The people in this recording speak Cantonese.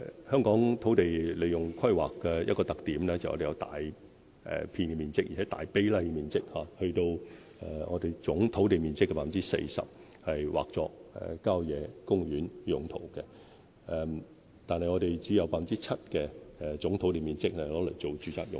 香港土地規劃的一個特點，就是把大片土地面積、大比例的土地面積劃作郊野公園用途，而我們只有 7% 總土地面積用作住宅用途。